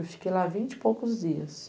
Eu fiquei lá vinte e poucos dias.